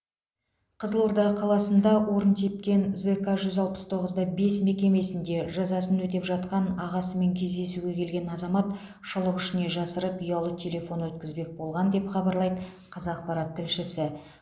қызылорда қаласында орын тепкен зк жүз алпыс тоғыз да бес мекемесінде жазасын өтеп жатқан ағасымен кездесуге келген азамат шұлық ішіне жасырып ұялы телефон өткізбек болған деп хабарлайды қазақпарат тілшісі